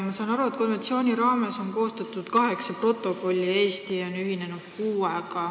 Ma saan aru, et konventsiooni raames on koostatud kaheksa protokolli ja Eesti on ühinenud kuuega.